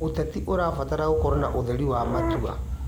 ũteti ũrabatara gũkorwo na ũtheri wa matua.